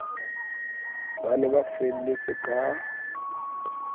ba ne ba felletse ka